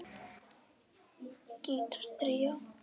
Gítar tríó